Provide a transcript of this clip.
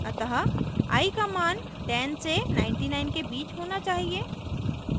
अतः i का मान 10 से 99 के बीच होना चाहिए